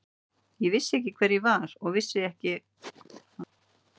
Ég vissi ekki hver ég var og vissi ekki hvaðan ég kom.